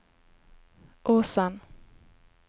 Åsen